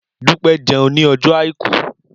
Dúpẹ́ jẹun ní ọjọ́ Àìkú.